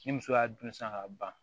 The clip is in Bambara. Ni muso y'a dun san ka ban